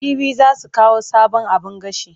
Jibi za su kawo sabon abin gashi.